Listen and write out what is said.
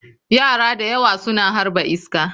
Yara da yawa suna harba iska.